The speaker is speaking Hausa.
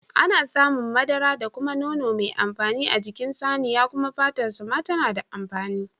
Ana samun madara da kuma nono mai amfani a jikin saniya kuma fatar sa ma tana da amfani